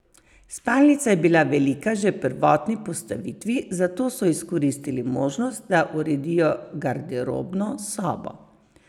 Spalnica je bila velika že v prvotni postavitvi, zato so izkoristili možnost, da uredijo garderobno sobo.